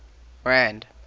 rand